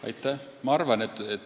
Aitäh!